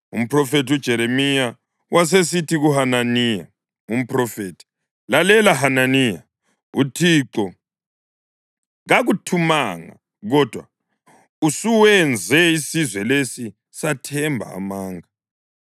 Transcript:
Umphrofethi uJeremiya wasesithi kuHananiya umphrofethi, “Lalela, Hananiya! UThixo kakuthumanga, kodwa usuwenze isizwe lesi sathemba amanga.